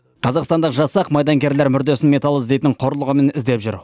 қазақстандық жасақ майдангерлер мүрдесін металл іздейтін құрылғымен іздеп жүр